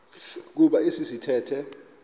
kuba esi sithethe